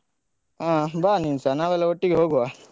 ಹ ಬಾ ನೀನುಸ ನಾವೆಲ್ಲ ಒಟ್ಟಿಗೆ ಹೋಗುವ.